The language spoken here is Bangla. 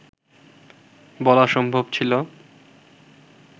বলা সম্ভব ছিল